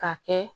Ka kɛ